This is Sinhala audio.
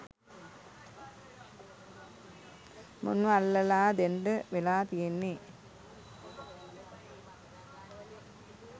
මුන්ව අල්ලලා දෙන්ඩ වෙලා තියෙන්නේ.